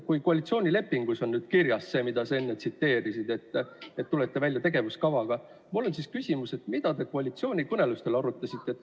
Kui koalitsioonilepingus on nüüd kirjas see, mida sa enne tsiteerisid, et te tulete välja tegevuskavaga, siis mul on küsimus, mida te koalitsioonikõnelustel arutasite.